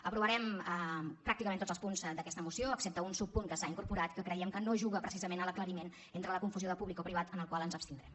aprovarem pràcticament tots els punts d’aquesta moció excepte un subpunt que s’hi ha incorporat que creiem que no juga precisament a l’aclariment entre la confusió de públic o privat en el qual ens abstindrem